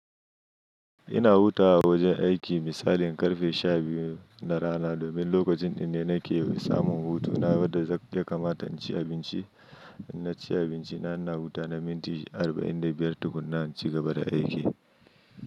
Ina hutawa a wajen aiki misalin ƙarfe sha biyu na rana domin lokacin ɗin ne nake samu hutu. Na bada zakk ya kamata, inci abinci, na ci abinci na, ina hutawa na minti arba'in da biyar tukuna, na ci gaba da aiki.